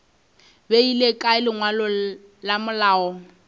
beile kae lengwalo la malao